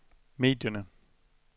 medierne